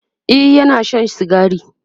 e Yana Shan sigari